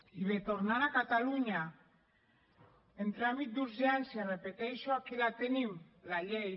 i bé tornant a catalunya en tràmit d’urgència ho repeteixo aquí la tenim la llei